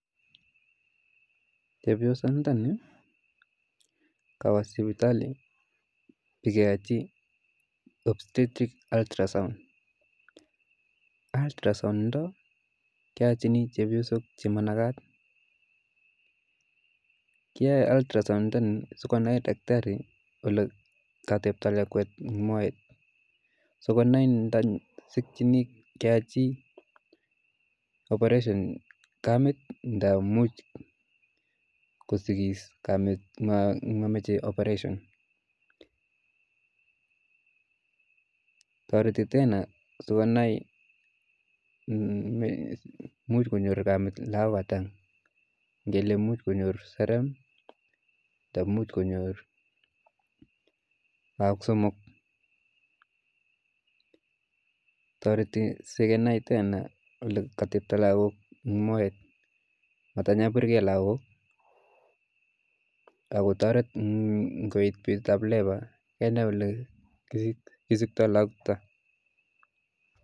Chepyosandani kowo sipitali bekeyochi opstetic aldrasom, aldrasom nondo keyochin chepiosok chemanakat, kiyoe aldrasom sikonai takitari olekotebtoo lakwet en moet, sikonai ndakisikyini keyachi operation kamet ndamuch kosikis kamet yomoche operation, toreti tena sikonai muuch konyor kamet lokok ataa, ng'elemuch konyor saram anan imuch konyor look somok, toreti sikenai tena olekotepto lokok en moet atanyokorbike lokok akotoret koit betutab labour kenai olee kisikto lokochuton.